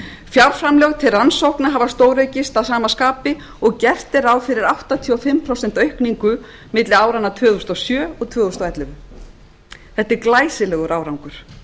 fjárframlög til rannsókna hafa stóraukist að sama skapi og gert er ráð fyrir áttatíu og fimm prósent aukningu milli áranna tvö þúsund og sjö og tvö þúsund og ellefu þetta er glæsilegur árangur